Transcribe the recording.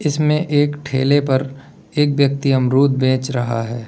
इसमें एक ठेले पर एक व्यक्ति अमरुद बेच रहा है।